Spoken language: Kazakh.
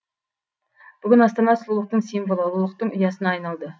бүгінгі астана сұлулықтың символы ұлылықтың ұясына айналды